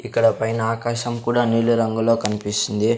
ఇక్కడ పైన ఆకాశం కూడా నీలి రంగులో కనిపిస్తుంది.